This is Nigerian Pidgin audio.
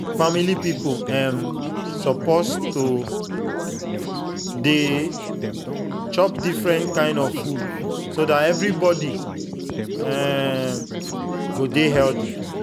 family people um suppose to dey chop different kind of food so dat everybody um go dey healthy.